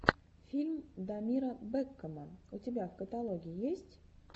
фильм дамира бэкама у тебя в каталоге есть